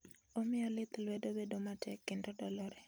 Omiyo lith lwedo bedo matek kendo dolore.